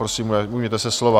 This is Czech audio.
Prosím, ujměte se slova.